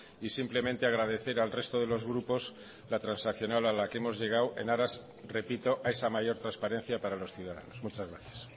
y simplemente agradecer al resto de los grupos la transaccional a la que hemos llegado en aras repito a esa mayor transparencia para los ciudadanos muchas gracias